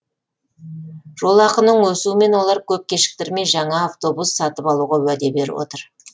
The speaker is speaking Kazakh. жолақының өсуімен олар көп кешіктірмей жаңа автобустар сатып алуға уәде беріп отыр